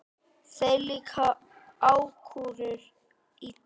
Þér líka ákúrur illa.